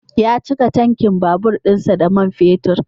Ya cika tankin babur dinsa da mab fetur.